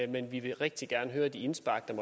men vi vil rigtig gerne høre de indspark der